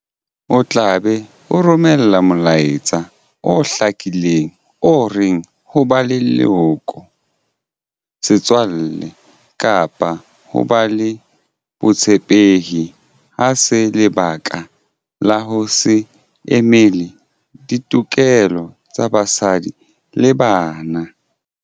O tla be o romela molaetsa o hlakileng o reng ho ba leloko, setswalle kapa ho ba le botshepehi ha se lebaka la ho se emele ditokelo tsa basadi le bana.